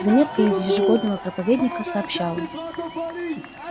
заметка из ежегодного проповедника сообщала